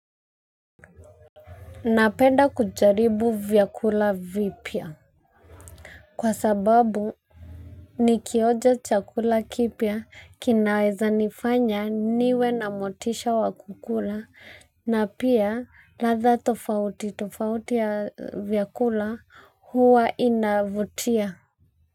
Napenda kujaribu vyakula vipya. Kwa sababu nikioja chakula kipya kinaweza nifanya niwe na motisha wa kukula na pia ladha tofauti tofauti tofauti ya vyakula huwa inavutia.